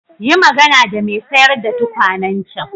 Yi magana da mai sayar da tukwanen can.